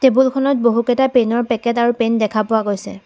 টেবুলখনত বহু কেইটা পেনৰ পেকেট আৰু পেন দেখা পোৱা গৈছে।